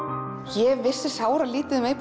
ég vissi sáralítið um